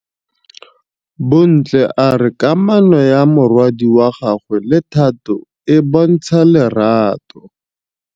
Bontle a re kamanô ya morwadi wa gagwe le Thato e bontsha lerato.